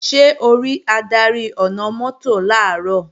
Ṣé o rí adarí ọ̀nà-mọ́tò làárọ̀?